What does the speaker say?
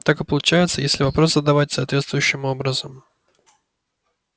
так и получается если вопрос задавать соответствующим образом